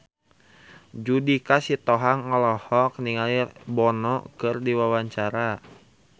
Judika Sitohang olohok ningali Bono keur diwawancara